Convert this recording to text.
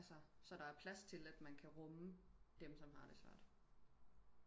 Altså så der er plads til at man kan rumme dem som har det svært